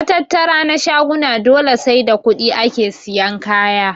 Matattara na shaguna dole sai da kuɗi ake siyan kaya.